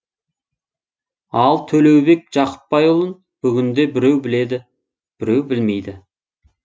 ал төлеубек жақыпбайұлын бүгінде біреу біледі біреу білмейді